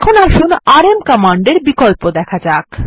এখন আসুন আরএম কমান্ডের বিকল্প দেখা যাক